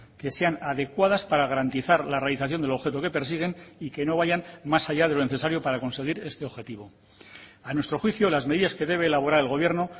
que sean adecuadas para garantizar la realización del objeto que persiguen y que no vayan más allá de lo necesario para conseguir este objetivo a nuestro juicio las medidas que debe elaborar el gobierno